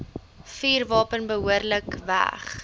vuurwapen behoorlik weg